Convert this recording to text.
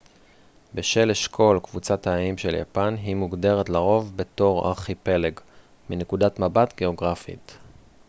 "בשל אשכול/קבוצת האיים של יפן היא מוגדרת לרוב בתור "ארכיפלג" מנקודת מבט גאוגרפית